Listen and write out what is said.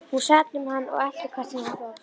Hún sat um hann og elti hvert sem hann fór.